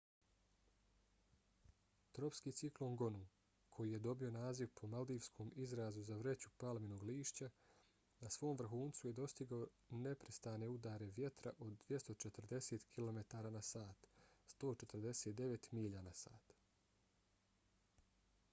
tropski ciklon gonu koji je dobio naziv po maldivskom izrazu za vreću palminog lišća na svom vrhuncu je dostigao neprestane udare vjetra od 240 kilometara na sat 149 milja na sat